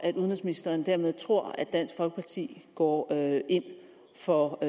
udenrigsministeren dermed tror at dansk folkeparti går ind for